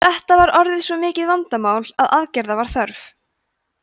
þetta var orðið svo mikið vandamál að aðgerða var þörf